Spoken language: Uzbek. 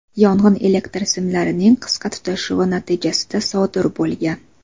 Yong‘in elektr simlarining qisqa tutashuvi natijasida sodir bo‘lgan.